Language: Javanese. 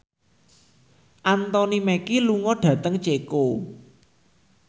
Anthony Mackie lunga dhateng Ceko